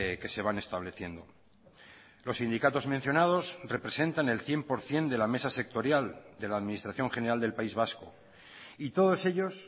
que se van estableciendo los sindicatos mencionados representan el cien por ciento de la mesa sectorial de la administración general del país vasco y todos ellos